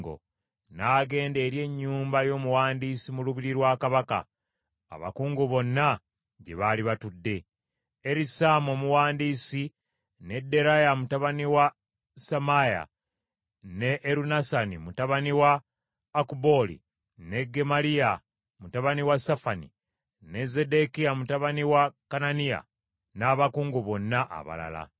n’agenda eri ennyumba y’omuwandiisi mu lubiri lwa kabaka, abakungu bonna gye baali batudde: Erisaama omuwandiisi, ne Deraya mutabani wa Semaaya, ne Erunasani mutabani wa Akubooli, ne Gemaliya mutabani wa Safani, ne Zeddekiya mutabani wa Kananiya, n’abakungu bonna abalala.